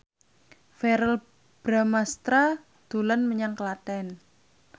Verrell Bramastra dolan menyang Klaten